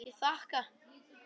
Ég þakka.